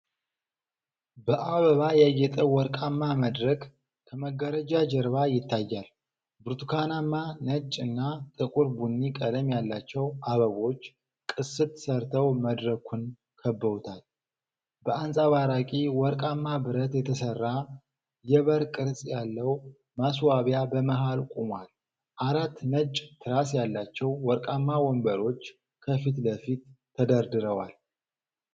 በአበባ ያጌጠ ወርቃማ መድረክ ከመጋረጃ ጀርባ ይታያል። ብርቱካናማ፣ ነጭ እና ጥቁር ቡኒ ቀለም ያላቸው አበቦች ቅስት ሰርተው መድረኩን ከበውታል። በአንጸባራቂ ወርቃማ ብረት የተሰራ የበር ቅርጽ ያለው ማስዋቢያ በመሀል ቆሟል። አራት ነጭ ትራስ ያላቸው ወርቃማ ወንበሮች ከፊት ለፊት ተደርድረዋል።